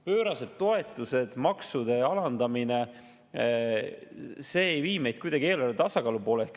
Pöörased toetused, maksude alandamine – see ei vii meid kuidagi eelarve tasakaalu poole.